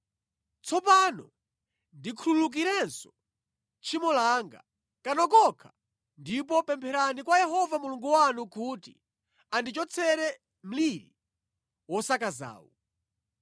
Tsopano ndikhululukirenso tchimo langa kano konkha ndipo pempherani kwa Yehova Mulungu wanu kuti andichotsere mliri wosakazawu.”